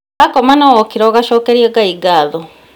Wakoma na wokĩra ũgacokeria Ngai ngatho